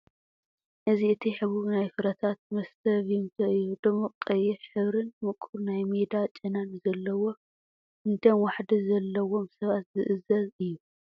እዚ እቲ ሕቡብ ናይ ፍረታት መስተ "ቪምቶ" እዩ፣ ድሙቕ ቀይሕ ሕብሪን ምቁር ናይ ሜዳ ጨናን ዘለዎ ንደም ዋሕዲ ዘለዎም ሰባት ዝእዘዝ አዩ።